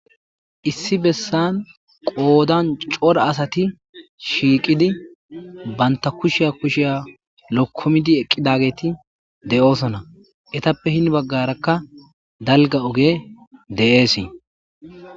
issi bessan qoodan cora asati shiiqidi banta kushiya kushiya lokkumidi eqqidageti de7oosona etappe hin baggarakka dalga oge de7eesii